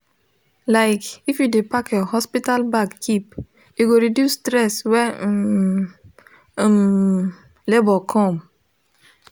like if u de pack your hospital bag keep e go reduce stress when um um labor come